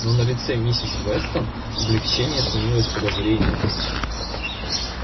но на лице миссис вестон облегчение сменилось подозрением